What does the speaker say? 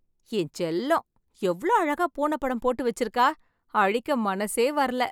என் செல்லம், எவ்ளோ அழகா பூன படம் போட்டு வெச்சிருக்கா... அழிக்க மனசே வரல..